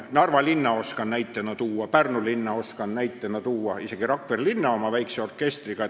Narva linna tean näiteks tuua, Pärnu linna tean näiteks tuua, isegi Rakvere linnal on oma väike orkester.